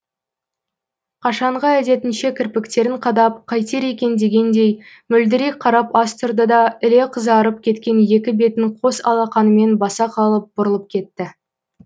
қашанғы әдетінше кірпіктерін қадап қайтер екен дегендей мөлдірей қарап аз тұрды да іле қызарып кеткен екі бетін қос алақанымен баса қалып бұрылып кетті